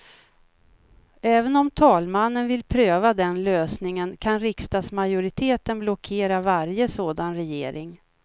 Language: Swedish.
Även om talmannen vill pröva den lösningen, kan riksdagsmajoriteten blockera varje sådan regering.